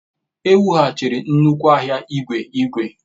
E wughachiri nnukwu ahịa igwe igwe.